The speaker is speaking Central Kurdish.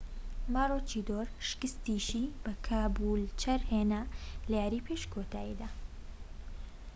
ماروچیدۆر شکستیشی بە کابولچەر هێنا لە یاریی پێش کۆتاییدا